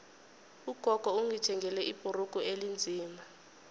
ugogo ungithengele ibhrugu elinzima